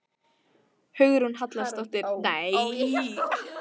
Hugrún Halldórsdóttir: Hvernig fenguð þið hugmyndina?